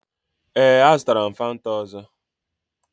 Ee, a zụtara m Fanta ọzọ.